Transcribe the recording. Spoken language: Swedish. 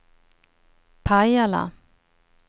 Pajala